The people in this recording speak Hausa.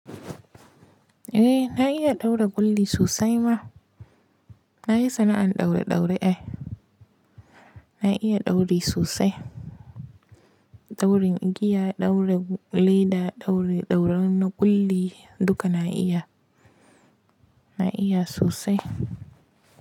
Eh na iya ɗaura ƙulli sosai ma. Na yi sana'an ɗaure-ɗaure ai. Na iya ɗauri sosai. Ɗaurin igiya, ɗaura leɗa, ɗaure, ɗauren na ƙulli duka na iya. Na iya sosai.